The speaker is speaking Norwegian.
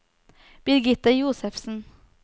Birgitte Josefsen